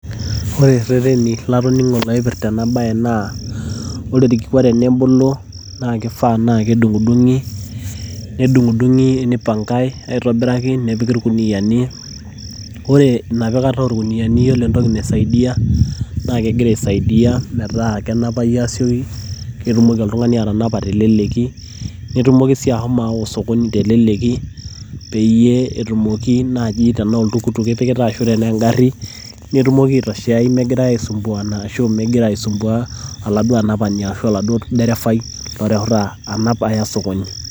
Ore irereni latoning'o loipirta ena bae naa, ore orkikua tenebulu naa kifaa na kedung'idung'i, nedung'idung'i nipangai aitobiraki, nepiki irkuniyiani. Ore enapikata orkuniyiani yiolo entoki naisaidia na kegira aisaidia metaa kenapayu asioki. Ketumoki oltung'ani atanapa asioki, netumoki si ashomo aawa osokoni teleleki peyie etumoki naaji tanaa oltukutuk ipikita ashu tenaa egarri, netumoki aitoshea megirsi aisumbuana arashu migira aisumbua oladuo anapani arashu olderefai loreuta anap aya osokoni.